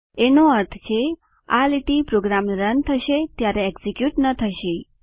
એનો અર્થ છે આ લીટી પ્રોગ્રામ રન થશે ત્યારે એકઝીક્યુટ ન થશે